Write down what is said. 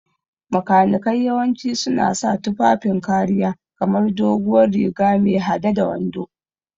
Makanikai yawanci suna sa tufafin kariya kamar doguwar riga me hade da wando.